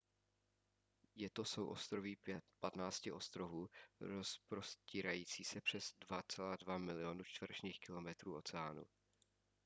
je to souostroví 15 ostrovů rozprostírající se přes 2,2 milionu čtverečních kilometrů oceánu